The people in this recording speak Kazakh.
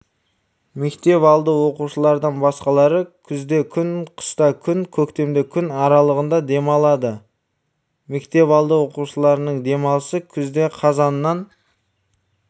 мектепалды оқушылардан басқалары күзде күн қыста күн көктемде күн аралығында демалады мектепалды оқушыларының демалысы күзде қазаннан